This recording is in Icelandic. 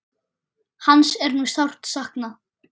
Hans er nú sárt saknað.